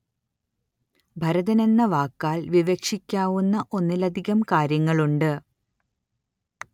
ഭരതന്‍ എന്ന വാക്കാല്‍ വിവക്ഷിക്കാവുന്ന ഒന്നിലധികം കാര്യങ്ങളുണ്ട്